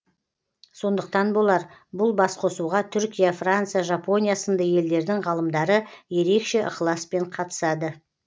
сондықтан болар бұл басқосуға түркия франция жапония сынды елдердің ғалымдары ерекше ықыласпен қатысады